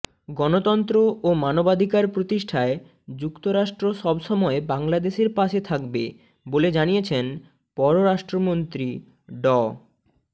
গণতন্ত্র ও মানবাধিকার প্রতিষ্ঠায় যুক্তরাষ্ট্র সব সময় বাংলাদেশের পাশে থাকবে বলে জানিয়েছেন পররাষ্ট্রমন্ত্রী ড